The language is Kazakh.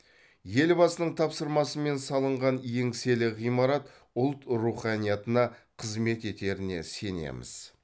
елбасының тапсырмасымен салынған еңселі ғимарат ұлт руханиятына қызмет етеріне сенеміз